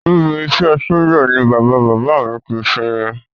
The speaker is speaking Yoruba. Níbi iṣẹ́ ẹ sójà ni bàbá bàbá à mi ti sinmi